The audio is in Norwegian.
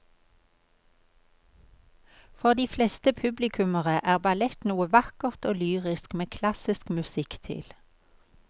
For de fleste publikummere er ballett noe vakkert og lyrisk med klassisk musikk til.